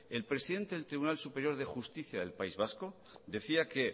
el presidente del tribunal superior de justicia del país vasco decía que